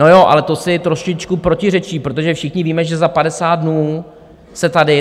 No jo, ale to si trošičku protiřečí, protože všichni víme, že za 50 dnů se tady...